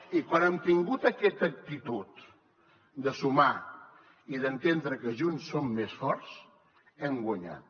i quan hem tingut aquesta actitud de sumar i d’entendre que junts som més forts hem guanyat